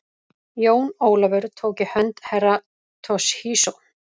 Jón Ólafur tók í hönd Herra Toshizo.